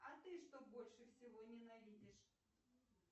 а ты что больше всего ненавидишь